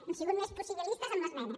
hem sigut més possibilistes amb l’esmena